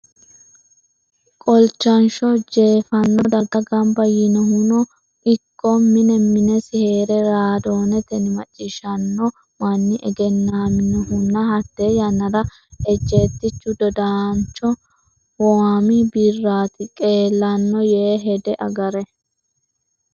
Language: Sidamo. Qolchansho jeeffanno darga gamba yiinohuno ikko mine minesi hee’re raadoonetenni macciishshanno manni egennaminohunna hatte yannara ejjeettichu dodaanchu Waami Birraatu qeelanno yee hede agare.